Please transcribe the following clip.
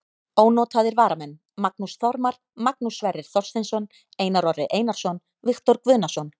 Ónotaðir varamenn: Magnús Þormar, Magnús Sverrir Þorsteinsson, Einar Orri Einarsson, Viktor Guðnason.